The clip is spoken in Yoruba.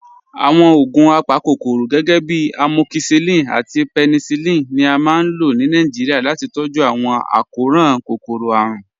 Awọn ogun apákokòró, gẹgẹ̀bí amọkíṣilín àti pẹ̀nísílín, ni à máa n lọ̀ ní Nàìjíríà láti tọ̀jú awọn akọran kókòró-árùn.